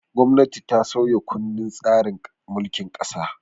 Gwamnati ta sauya kundin tsarin mulkin ƙasa.